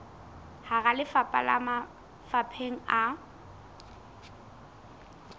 hara lefapha le mafapheng a